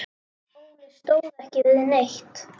Óli stóð ekki við neitt.